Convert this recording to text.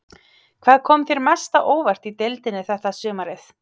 Hvað kom þér mest á óvart í deildinni þetta sumarið?